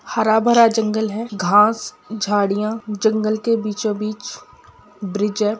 हरा-भरा जंगल है घास झाड़ियां जंगल के बीचों-बीच ब्रिज है ।